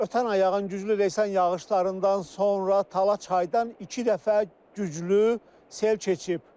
Ötən ay yağan güclü leysan yağışlarından sonra Tala çaydan iki dəfə güclü sel keçib.